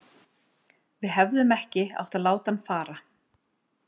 Við hefðum ekki átt að láta hann fara.